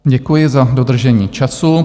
Děkuji za dodržení času.